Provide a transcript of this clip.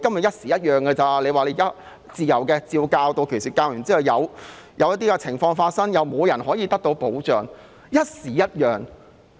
一時一樣，今天說自由，屆時照史實教授後，有情況發生又沒有保障。